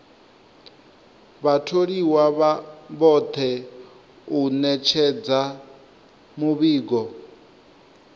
vhatholiwa vhoṱhe u ṅetshedza muvhigo